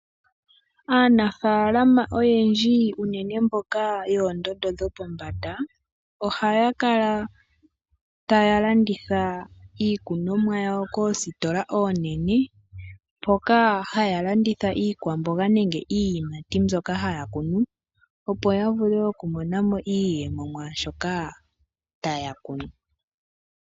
Aanafaalama oyendji unene mboka yoondondo dhopo mbanda, oha ya kala ta ya landitha iikunomwa yawo koostola oonene, mpoka ha ya landitha iikwamboga nenge iiyamati mbyoka ha ya longo opo ya vule oku monamo iiyemo mwaashoka ta ya kunu.